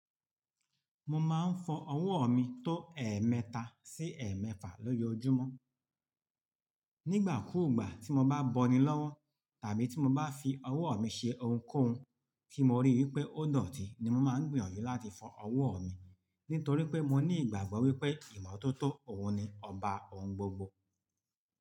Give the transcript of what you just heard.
Mo máa ń fọ ọwọ́ mi tó ẹ̀ẹ̀mẹta sí ẹ̀ẹ̀mẹ́fà lọ́jọ́ ojúmọ́. Nígbà kúùgbà tí mo bá bọni lọ́wọ́ tàbí tí mo bá fi ọwọ́ mi ṣe ohunkóhun tí mo rí wípé ó dọ̀tí ni mo máa ń gbìyànjú láti fọ ọwọ́ mi. Nítorí pé mo ní ìgbàgbọ́ wípé ìmọ́tótó òun ni ọba ohun gbogbo.